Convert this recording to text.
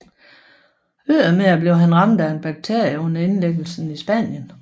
Ydermere blev han ramt af en bakterie under indlæggelsen i Spanien